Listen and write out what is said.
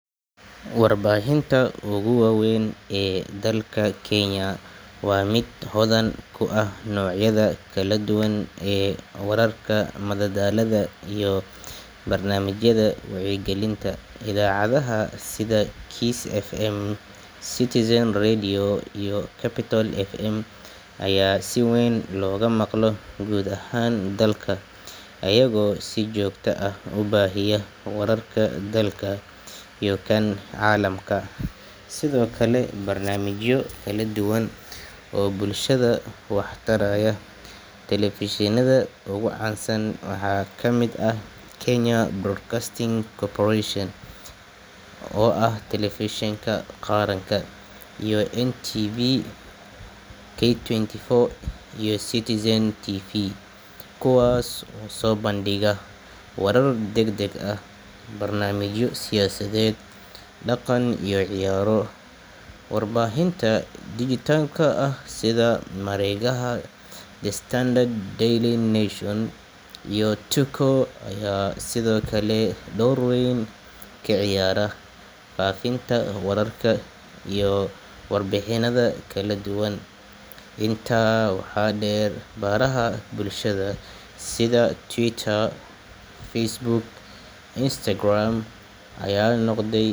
Warbaahinta ugu weyn ee dalka Kenya waa mid hodan ku ah noocyada kala duwan ee wararka, madadaalada iyo barnaamijyada wacyigelinta. Idaacadaha sida Kiss FM, Citizen Radio iyo Capital FM ayaa si weyn looga maqlo guud ahaan dalka, iyagoo si joogto ah u baahiya wararka dalka iyo kan caalamka, sidoo kale barnaamijyo kala duwan oo bulshada wax taraya. Telefishinada ugu caansan waxaa ka mid ah Kenya Broadcasting Corporation (KBC), oo ah telefishinka qaranka, iyo NTV Kenya, K24 iyo Citizen TV kuwaas oo soo bandhiga warar degdeg ah, barnaamijyo siyaasadeed, dhaqan iyo ciyaaro. Warbaahinta dhijitaalka ah sida mareegaha The Standard, Daily Nation iyo Tuko ayaa sidoo kale door weyn ka ciyaara faafinta wararka iyo warbixinada kala duwan. Intaa waxaa dheer, baraha bulshada sida Twitter, Facebook iyo Instagram ayaa noqday.